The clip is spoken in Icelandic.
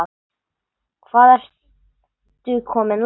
Hvað ertu komin langt?